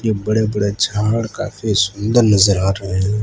बड़े बड़े झाड़ काफी सुंदर नजर आ रहे हैं।